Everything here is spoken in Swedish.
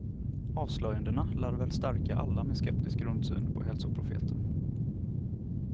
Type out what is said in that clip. Avslöjandena lär väl stärka alla med skeptisk grundsyn på hälsoprofeter.